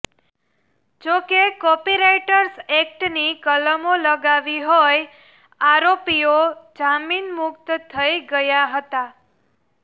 જો કે કોપીરાઈટ્સ એકટની કલમો લગાવી હોય આરોપીઓ જામીન મુકત થઈ ગયા હતા